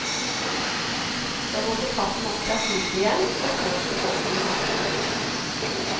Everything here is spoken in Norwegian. Så måtte katten opp fra skipet igjen, og så fikk folkene matro.